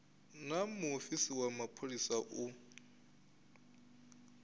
naa muofisi wa mapholisa u